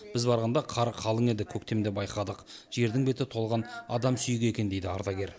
біз барғанда қар қалың еді көктемде байқадық жердің беті толған адам сүйегі екен дейді ардагер